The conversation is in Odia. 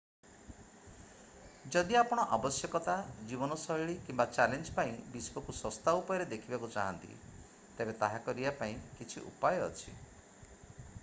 ଯଦି ଆପଣ ଆବଶ୍ୟକତା ଜୀବନଶୈଳୀ କିମ୍ବା ଚ୍ୟାଲେଞ୍ଜ୍ ପାଇଁ ବିଶ୍ୱକୁ ଶସ୍ତା ଉପାୟରେ ଦେଖିବାକୁ ଚାହାଁନ୍ତି ତେବେ ତାହା କରିବା ପାଇଁ କିଛି ଉପାୟ ଅଛି